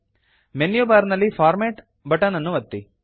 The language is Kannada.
ಮೆನ್ಯು ಬಾರ್ ನಲ್ಲಿ ಫಾರ್ಮ್ಯಾಟ್ ಬಟನ್ ಅನ್ನು ಒತ್ತಿ